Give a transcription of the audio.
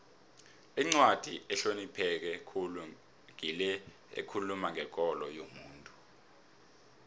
incwadi ehlonipheke khulu ngile ekhuluma ngekolo yomuntu